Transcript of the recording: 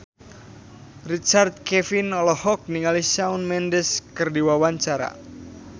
Richard Kevin olohok ningali Shawn Mendes keur diwawancara